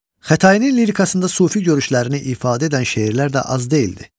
Xətainin lirikasında sufi görüşlərini ifadə edən şeirlər də az deyildir.